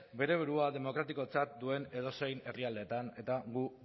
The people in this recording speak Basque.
bere burua demokratikotzat duen edozein herrialdetan eta guk